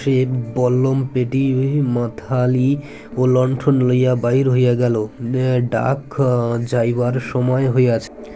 সে বল্লম পেটি হয়ে মাথালি ও লন্ঠন লইয়া বাহির হইয়া গেল আ ডাক আ যাইবার সময় হইয়াছে